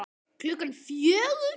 Klukkan fjögur?